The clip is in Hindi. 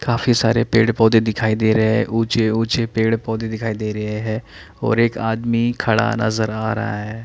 काफी सारे पेड़ पौधे दिखाई दे रहे ए ऊचे-ऊचे पेड़ पौधे दिखाई दे रहे है और एक आदमी खड़ा नज़र आ रहा है।